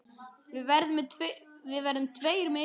Við verðum tveir með ykkur.